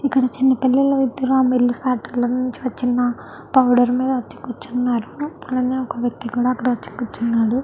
ఇక్కడ చిన్న పిల్లలు ఆ ఫ్యాక్టరీ లోనుంచి వచ్చి ఉన్న పౌడర్ మీద వచ్చి కూర్చున్నారు. అలాగే ఒక వ్యక్తి కూడా వచ్చి కూర్చున్నారు.